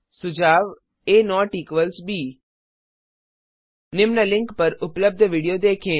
सुझाव आ ब निम्न लिंक पर उपलब्ध विडियो देखें